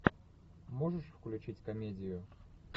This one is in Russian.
можешь включить комедию